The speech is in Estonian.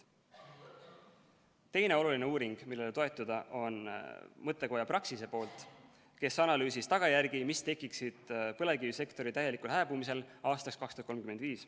Teine oluline uuring, millele toetuda, on mõttekojalt Praxis, kes analüüsis tagajärgi, mis tekiksid põlevkivisektori täielikul hääbumisel aastaks 2035.